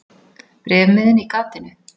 Bréfmiðinn í gatinu.